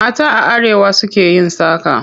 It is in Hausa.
Mata a arewa su ke yin saƙa.